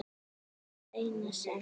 Það eina sem